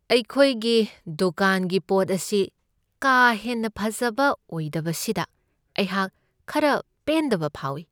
ꯑꯩꯈꯣꯏꯒꯤ ꯗꯨꯀꯥꯟꯒꯤ ꯄꯣꯠ ꯑꯁꯤ ꯀꯥ ꯍꯦꯟꯅ ꯐꯖꯕ ꯑꯣꯏꯗꯕꯁꯤꯗ ꯑꯩꯍꯥꯛ ꯈꯔ ꯄꯦꯟꯗꯕ ꯐꯥꯎꯢ ꯫